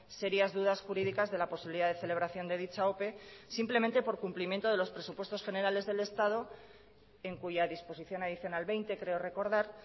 serias dudas jurídicas de la posibilidad de celebración de dicha ope simplemente por cumplimiento de los presupuestos generales del estado en cuya disposición adicional veinte creo recordar